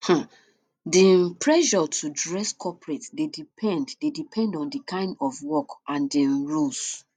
di um pressure to dress coperate dey depend dey depend on di kind of work and di um rules